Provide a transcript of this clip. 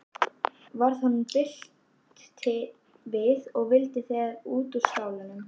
Varð honum bilt við og vildi þegar út úr skálanum.